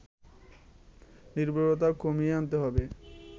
নির্ভরতা কমিয়ে আনতে হবে